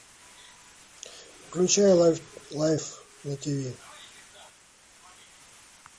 включай лайф на тиви